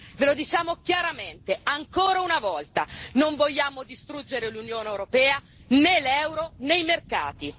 Ve lo diciamo chiaramente, ancora una volta non vogliamo distruggere l'Unione europea, né l'euro, né i mercati.